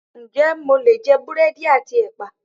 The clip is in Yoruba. Ǹjẹ́ mo lè jẹ búrẹ́dì àti ẹpa?